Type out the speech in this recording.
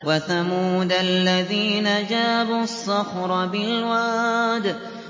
وَثَمُودَ الَّذِينَ جَابُوا الصَّخْرَ بِالْوَادِ